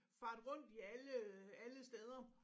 Farte rundt i alle alle steder